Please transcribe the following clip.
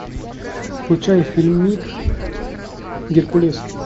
включай фильмик геркулес